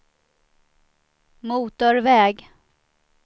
motorväg